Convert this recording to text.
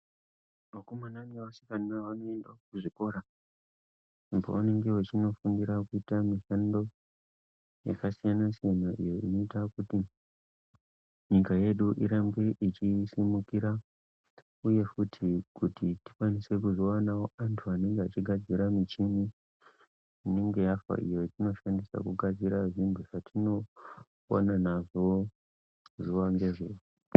Vakomana nevasina vanoende kuzvikora uko kwavanenge veindofundira mishando yakasiyana siyana zvinoite kuti nyika yedu irambe yeisimukira uye futi kuti tikwanise kuzowanawo vanhu vanogadzire mishini inenge yafa iyo yatinoshandise kugadzire zviro zvatinopona nazvo zuwa ngezuwa.